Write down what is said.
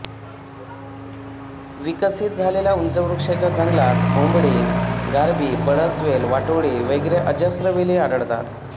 विकसित झालेल्या उंच वृक्षांच्या जंगलात ओंबळ गारबी पळसवेल वाटोळी वगैरे अजस्र वेली आढळतात